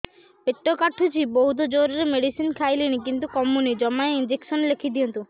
ପେଟ କାଟୁଛି ବହୁତ ଜୋରରେ ମେଡିସିନ ଖାଇଲିଣି କିନ୍ତୁ କମୁନି ଜମା ଇଂଜେକସନ ଲେଖିଦିଅନ୍ତୁ